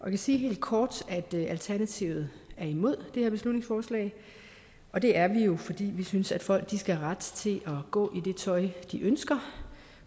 kan sige helt kort at alternativet er imod det her beslutningsforslag og det er vi jo fordi vi synes at folk skal have ret til at gå i det tøj de ønsker